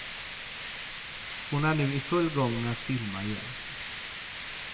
Hon är nu i full gång med att filma igen.